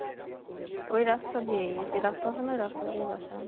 ওই রাস্তা দিয়েই ঐযে রাস্তা আছে না ওই রাস্তা দিয়েই বাসা